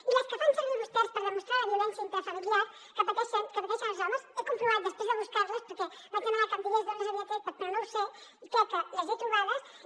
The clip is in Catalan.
i les que fan servir vostès per demostrar la violència intrafamiliar que pateixen els homes he comprovat després de buscar les perquè vaig demanar que em digués d’on les havia tret però no ho sé i crec que les he trobades